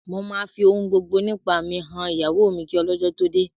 Mo máa fi ohun gbogbo nípa mi han ìyàwó mi kí ọlọ́jọ́ tó dé